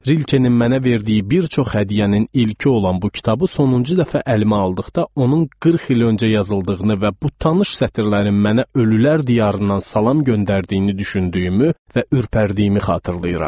Rilkenin mənə verdiyi bir çox hədiyyənin ilki olan bu kitabı sonuncu dəfə əlimə aldıqda onun 40 il öncə yazıldığını və bu tanış sətirlərin mənə ölülər diyarından salam göndərdiyini düşündüyümü və ürpərdiyimi xatırlayıram.